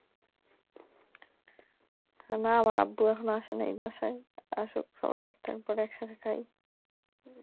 না আমার আব্বু এহনো আসে নাই বাসায়, আসুক সবাই তারপর একসাথে খাই